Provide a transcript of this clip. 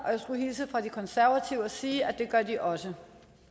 og jeg skulle hilse fra de konservative og sige at det gør de også